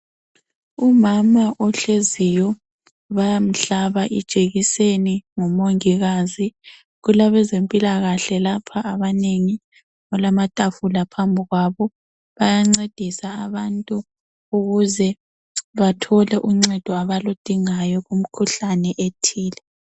Umama ohleziyo bayamhlaba ijekiseni ngumongikazi. Kulabezempilakahle lapha abanengi. Kulamatafula phambi kwabo. Bayancedisa abantu ukuze bathole uncedo abaludingayo kumikhuhlane ethile.